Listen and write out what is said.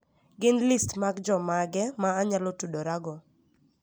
Gin list mag jomage ma anyalo tudorago?